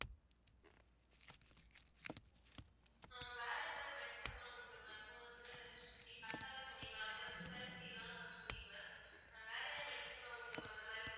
ஆஹ் வேற என்ன medicine லாம் உண்டு mam இப்போ வந்து நீங்க கற்றாழை சொன்னீங்கள்ல அதேமாதிரி துளசிலாம் சொன்னீங்க mam வேற என்ன medicine லாம் உண்டு mam இந்தமாறி மூ~